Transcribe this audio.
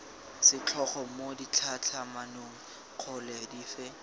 setlhogo mo ditlhatlhamanong kgolo dife